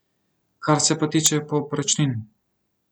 Kar se pa tiče povprečnin.